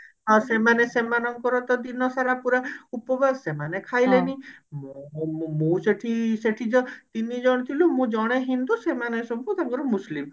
ହଁ ସେମାନେ ସେମାନଙ୍କର ତ ଦିନ ସାରା ପୁରା ଉପବାସ ମାନେ ଖାଇଲେନି ମୋର ମୁଁ ସେଠି ସେଠି ଜ ତିନିଜଣ ଥିଲୁ ମୁଁ ଜଣେ ହିନ୍ଦୁ ସେମାନେ ସବୁ ତାଙ୍କର ମୁସଲିମ